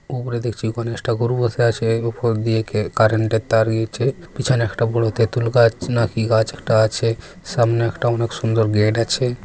উপরে দেখছি গণেশ ঠাকুর বসে আছে উপর দিয়ে কে কার্রেন্টের তার গেছে পিছনে একটা বড়ো তেঁতুল গাছ না কি গাছ একটা আছে সামনে একটা অনেক সুন্দর গেট আছে।